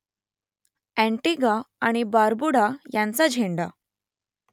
Antigua आणि Barbuda यांचा झेंडा